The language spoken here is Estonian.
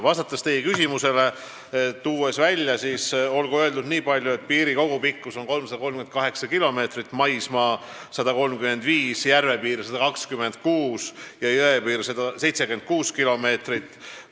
Vastates teie küsimusele, ütlen niipalju, et piiri kogupikkus on 338 kilomeetrit, maismaapiir 135, järvepiir 126 ja jõepiir 76 kilomeetrit.